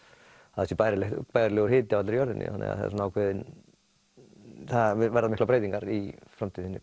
að það sé bærilegur bærilegur hiti á allri jörðinni þannig að það verða miklar breytingar í framtíðinni